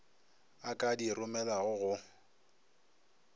a ka di romelago go